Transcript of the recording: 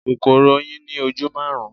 Kòkòrò oyin ní ojú maarun.